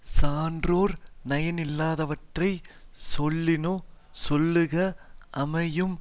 சான்றோர் நயனில்லாதவற்றைச் சொல்லினுஞ் சொல்லுக அமையும்